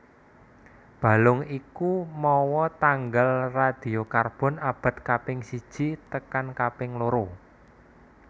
Balung iku mawa tanggal radiokarbon abad kaping siji tekan kaping loro